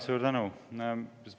Suur tänu!